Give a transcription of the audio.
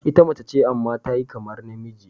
Ita mace ce amma ta yi kamar namiji.